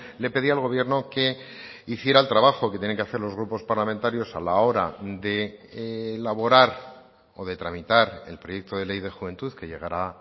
le pedía al gobierno que hiciera el trabajo que tienen que hacer los grupos parlamentarios a la hora de elaborar o de tramitar el proyecto de ley de juventud que llegará